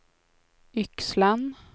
Yxlan